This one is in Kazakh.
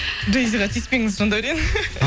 джей зиға тиіспеңіз жандаурен